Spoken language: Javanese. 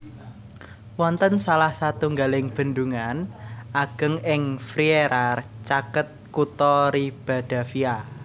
Wonten salah satunggaling bendungan ageng ing Frieira caket kutha Ribadavia